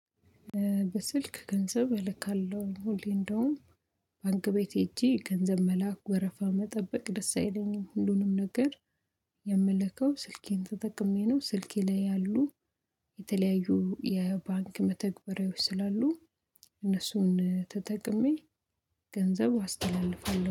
በስልክ ገንዘብ እልካለሁ። እኔ እንደውም ባንክ ቤት ሄጄ ገንዘብ መላኩ ወረፋ መጠበቅ ደስ አይለኝም። ሁሉንም ነገር የምለከው ስልኬን ተጠቅሜ ነው። ስልኬ ላይ ያሉ የተለያዩ የባንክ መተግበሪያዎች ስላሉ እነሱን ተጠቅሜ ገንዘብ አስተላልፋለሁ።